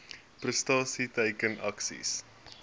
prestasie teiken aksies